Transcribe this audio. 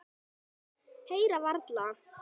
Heyra varla.